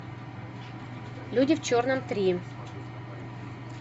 люди в черном три